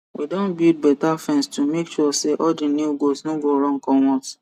we don build better fence to make sure say all the new goat no go run comot